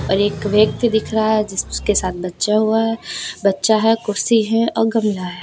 एक व्यक्ति दिख रहा है जिसके साथ बच्चा हुआ है बच्चा है कुर्सी है और गमला है।